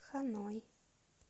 ханой